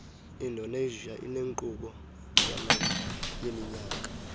indonesia inenkqubo yaminyaka